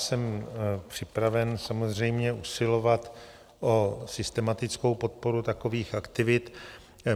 Jsem připraven samozřejmě usilovat o systematickou podporu takových aktivit.